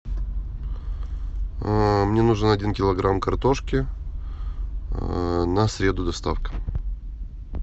мне нужен один килограмм картошки на среду доставка